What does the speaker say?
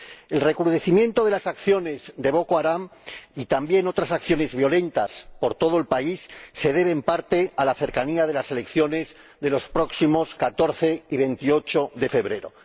El recrudecimiento de las acciones de Boko Haram y también otras acciones violentas por todo el país se deben, en parte, a la cercanía de las elecciones de los próximos 14 y 28 de febrero.